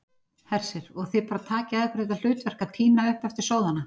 Hersir: Og þið bara takið að ykkur þetta hlutverk að tína upp eftir sóðana?